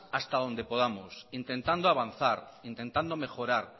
hasta donde podamos intentando avanzar intentando mejorar